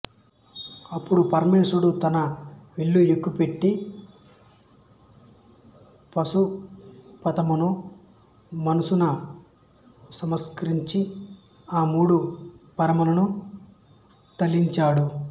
అప్పుడు పరమేశ్వరుడు తన విల్లు ఎక్కు పెట్టి పాశుపతమును మనసున స్మరించి ఆ మూడు పురములను తలిచాడు